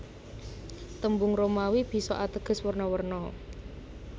Tembung Romawi bisa ateges werna werna